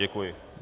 Děkuji.